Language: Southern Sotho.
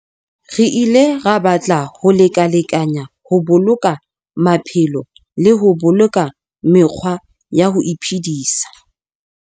Re ile ra batla ho lekalekanyana ho boloka maphelo le ho boloka mekgwa ya ho iphedisa.